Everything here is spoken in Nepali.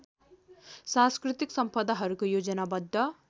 सांस्कृतिक सम्पदाहरूको योजनाबद्ध